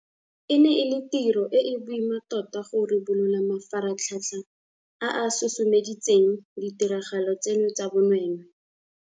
E ne e le tiro e e boima tota go ribolola mafaratlhatlha a a susumeditseng ditiragalo tseno tsa bonweenwee.